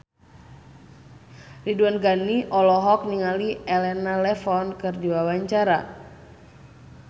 Ridwan Ghani olohok ningali Elena Levon keur diwawancara